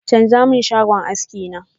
chanza mun salon aski na!